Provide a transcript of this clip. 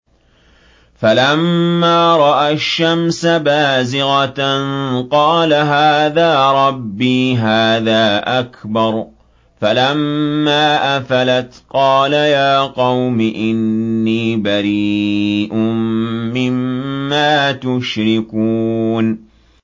فَلَمَّا رَأَى الشَّمْسَ بَازِغَةً قَالَ هَٰذَا رَبِّي هَٰذَا أَكْبَرُ ۖ فَلَمَّا أَفَلَتْ قَالَ يَا قَوْمِ إِنِّي بَرِيءٌ مِّمَّا تُشْرِكُونَ